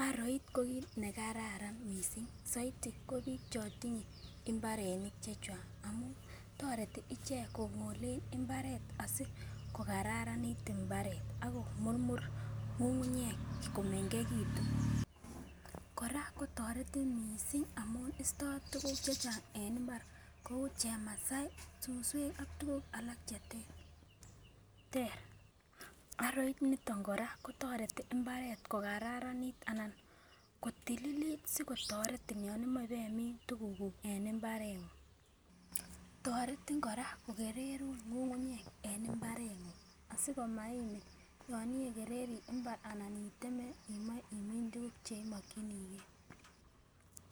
Aroit ko kit nekararan missing soiti ko bik chon tinye imbaronik chechang, toreti icheck kongole imbaret asikokararanit imbaret ak komurmuri ngungunyek komengekitun. Koraa kotoretin missing amun isto tukuk chechang en imbar kou chemasai, suswek ak tukuk alak cheter. Aroit niton koraa kotoreti imbaret kokararanit anan kotililit sikotoretin yon imoi ibemin tukuk kuk en imbarengung. Toretin koraa kokererun ngungunyek en imbarengung asikomaimin yon iwekerere imbar anan iteme imoe imine tukuk cheimokinigee.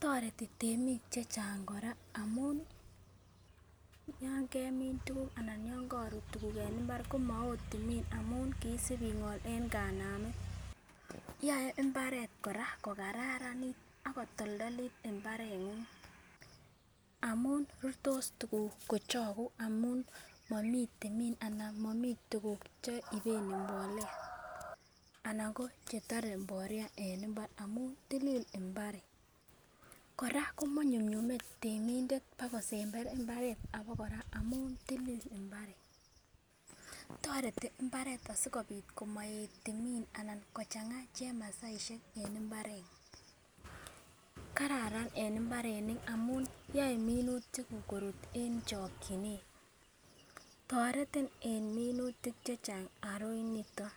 Toreti temik chechang koraa amun yon kemin tukuk anan yon korut tukuk en imbar komonome timin amun kisib ingol en kanamet yoe imbaret koraa ko kararanit ak kotoldolit imbarengung amun rurtos tukuk kochoku amun momii timin anan moimii tukuk cheiben mbolea anan ko chetoret mbolea en imbaret amun tilil imbaret. Koraa komonyumnyume temindet bakosember imbaret bakoraa amun tilil imbaret, toreti imbaret asikopit amoet timit anan kochanga chemasaishek imbarengung. Kararan en imbarenik amun yoe minutik kuk korut en chokinet, toretin en minutik chechang aroit niton